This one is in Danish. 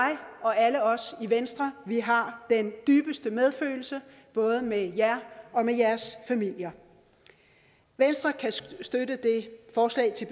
og alle os i venstre har den dybeste medfølelse både med jer og med jeres familier venstre kan støtte det forslag til